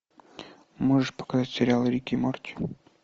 можешь показать сериал рик и морти